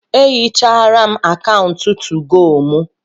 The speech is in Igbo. Ehichara m akaụntụ 2go mụ